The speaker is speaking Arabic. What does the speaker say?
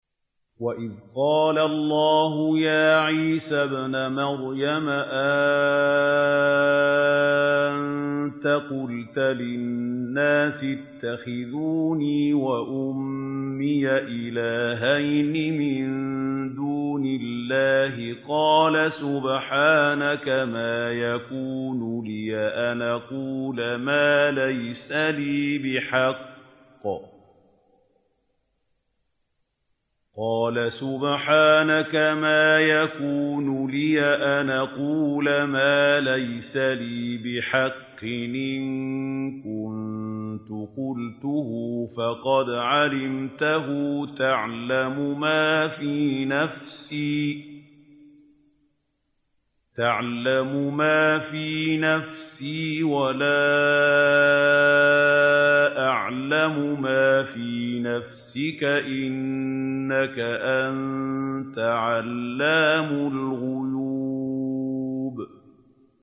وَإِذْ قَالَ اللَّهُ يَا عِيسَى ابْنَ مَرْيَمَ أَأَنتَ قُلْتَ لِلنَّاسِ اتَّخِذُونِي وَأُمِّيَ إِلَٰهَيْنِ مِن دُونِ اللَّهِ ۖ قَالَ سُبْحَانَكَ مَا يَكُونُ لِي أَنْ أَقُولَ مَا لَيْسَ لِي بِحَقٍّ ۚ إِن كُنتُ قُلْتُهُ فَقَدْ عَلِمْتَهُ ۚ تَعْلَمُ مَا فِي نَفْسِي وَلَا أَعْلَمُ مَا فِي نَفْسِكَ ۚ إِنَّكَ أَنتَ عَلَّامُ الْغُيُوبِ